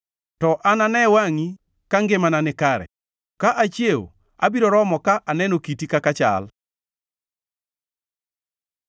To anane wangʼi ka ngimana nikare; ka achiewo, abiro romo ka aneno kiti kaka ichal.